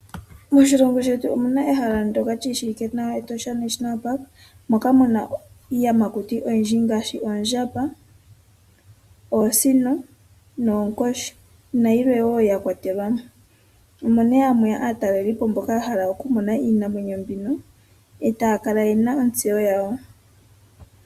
Moshilongo shetu omu na ehala ndyoka li shiwike nawa, Etosha National Park moka mu na iiyamakuti oyindji ngaashi oondjamba, oosino, oonkoshi nayilwe wo ya kwatelwa mo. Omo nduno hamu ya aataleli po mboka ya hala okumona iinamwenyo mbino e taya kala ye na ontseyo yawo.